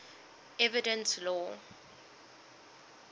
evidence law